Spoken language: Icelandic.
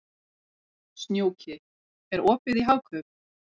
Snjóki, er opið í Hagkaup?